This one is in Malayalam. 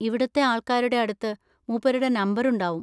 ഇവിടുത്തെ ആൾക്കാരുടെ അടുത്ത് മൂപ്പരുടെ നമ്പർ ഉണ്ടാവും.